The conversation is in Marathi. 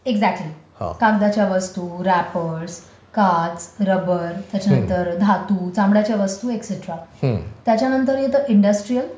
एक्साक्टली, कागदाच्या वस्तू, रॅपर्स काच रबर त्याच्यानंतर धातू चामड्याच्या वस्तू वगैरे त्याच्यानंतर येतं इंडस्ट्रिअल